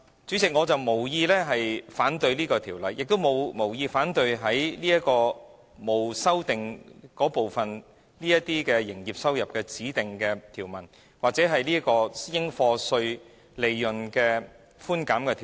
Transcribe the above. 主席，我無意反對這項《條例草案》，亦無意反對沒有修正案的條文中，有關指定營業收入或應課稅利潤寬減的條文。